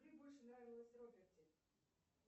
мне больше нравилось роберти